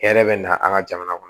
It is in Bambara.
Hɛrɛ bɛ na an ka jamana kɔnɔ